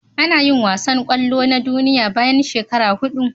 Anayin wasan kwallo na duniya bayan shekara hudu